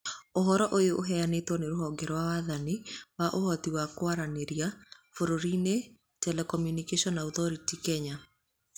Ũhoro ũyũ ũheanĩtwo nĩ rũhonge rwa wathani wa ũhoti wa kwaranĩria bũrũriinĩ Telecommunication Authority (CA) Kenya.